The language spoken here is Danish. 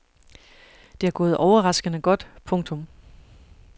Det er gået overraskende godt. punktum